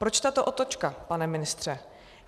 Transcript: Proč tato otočka, pane ministře?